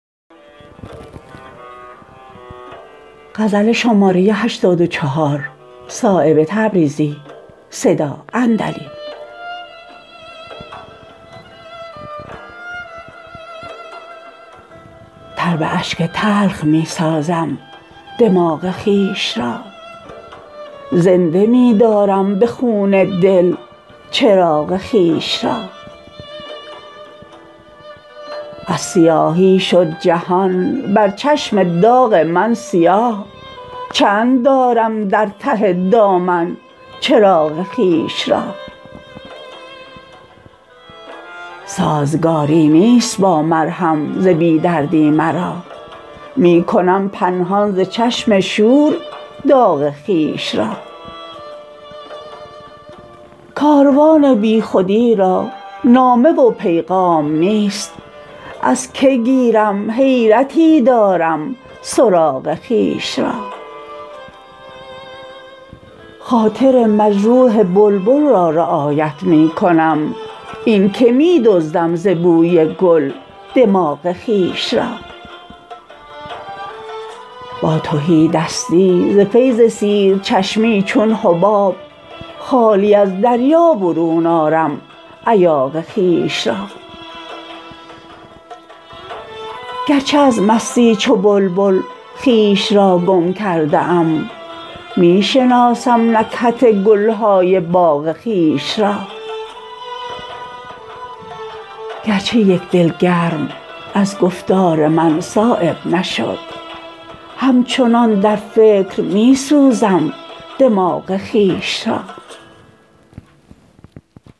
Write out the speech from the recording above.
تر به اشک تلخ می سازم دماغ خویش را زنده می دارم به خون دل چراغ خویش را از سیاهی شد جهان بر چشم داغ من سیاه چند دارم در ته دامن چراغ خویش را سازگاری نیست با مرهم ز بی دردی مرا می کنم پنهان ز چشم شور داغ خویش را کاروان بی خودی را نامه و پیغام نیست از که گیرم حیرتی دارم سراغ خویش را خاطر مجروح بلبل را رعایت می کنم این که می دزدم ز بوی گل دماغ خویش را با تهیدستی ز فیض سیر چشمی چون حباب خالی از دریا برون آرم ایاغ خویش را گر چه از مستی چو بلبل خویش را گم کرده ام می شناسم نکهت گلهای باغ خویش را گرچه یک دل گرم از گفتار من صایب نشد همچنان در فکر می سوزم دماغ خویش را